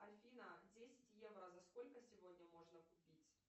афина десять евро за сколько сегодня можно купить